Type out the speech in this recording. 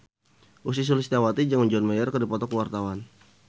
Ussy Sulistyawati jeung John Mayer keur dipoto ku wartawan